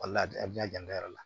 Wala a bɛ na janto yɛrɛ la